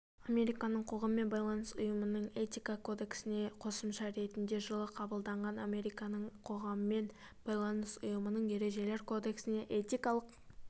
американың қоғаммен байланыс ұйымының этика кодексіне қосымша ретінде жылы қабылданған американың қоғаммен байланыс ұйымының ережелер кодексі этикалық